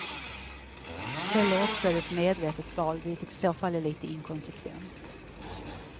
Eller också är det ett medvetet val, vilket i så fall är lite inkonsekvent.